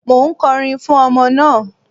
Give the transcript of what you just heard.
Mò ń kọrin fún ọmọ náà.